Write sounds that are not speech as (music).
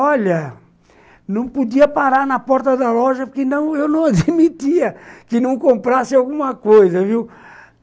Olha, não podia parar na porta da loja porque eu não (laughs) admitia que não comprasse alguma coisa, viu?